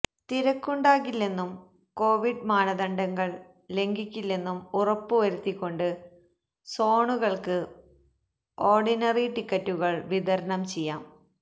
തിരക്കുണ്ടാകില്ലെന്നും Covid മാനദണ്ഡങ്ങൾ ലംഘിക്കില്ലെന്നും ഉറപ്പുവരുത്തിക്കൊണ്ട് സോണുകൾക്ക് ഓർഡിനറി ടിക്കറ്റുകൾ വിതരണം ചെയ്യാം